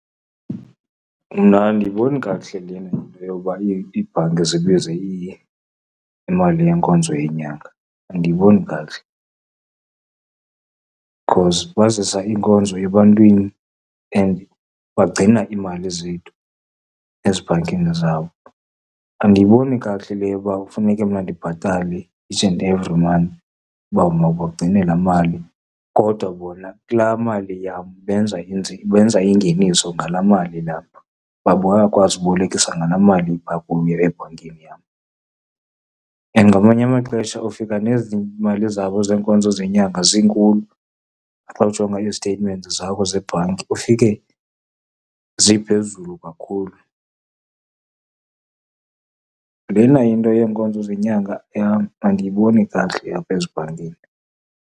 Mna andiyiboni kakuhle le nto yokuba iibhanki zibize imali yenkonzo yenyanga. Andiyiboni kakuhle, because bazisa iinkonzo ebantwini and bagcina iimali zethu ezibhankini zabo. Andiyiboni kakuhle le yoba kufuneke mna ndibhatale each and every month ukuba mabagcine laa mali kodwa bona kulaa mali yam benza , benza ingeniso ngalaa mali ilapho, kuba bayakwazi ukubolekisa ngalaa mali ipha kubo ebhankini yam. And ngamanye amaxesha ufika nezi mali zabo zeenkonzo zenyanga zinkulu, xa ujonga izitetimenti zabo zebhanki ufike ziphezulu kakhulu. Lena into yeenkonzo zenyanga yam andiyiboni kakuhle apha ezibhankini.